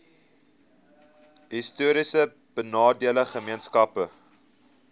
histories benadeelde gemeenskappe